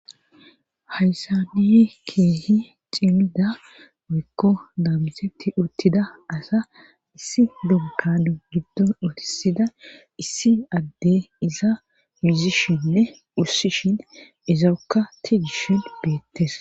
Hayssaniy keehi cimida oykko daamsetti uttida asa issi dunkadu giddo utisida issi adde iza muzishinne ussishin izarkka tigishin beettes.